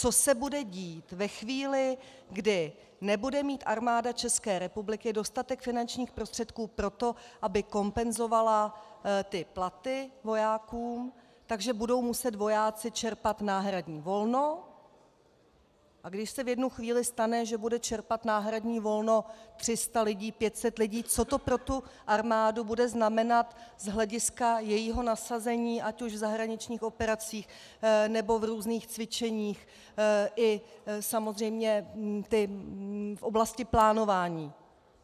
Co se bude dít ve chvíli, kdy nebude mít Armáda České republiky dostatek finančních prostředků na to, aby kompenzovala platy vojákům, takže budou muset vojáci čerpat náhradní volno, a když se v jednu chvíli stane, že bude čerpat náhradní volno 300 lidí, 500 lidí, co to pro tu armádu bude znamenat z hlediska jejího nasazení ať už v zahraničních operacích, nebo v různých cvičeních, i samozřejmě v oblasti plánování.